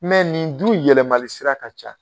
nin dun yɛlɛmali sira ka ca.